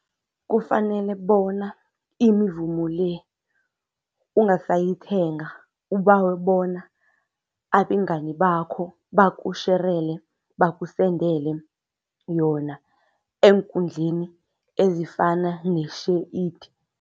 Kufanele bona imivumo le ungasayithenga ubawe bona abengani bakho bakusherele, bakusendele yona eenkundleni ezifana ne-SHAREit.